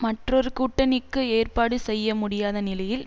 மற்றொரு கூட்டணிக்கு ஏற்பாடு செய்ய முடியாத நிலையில்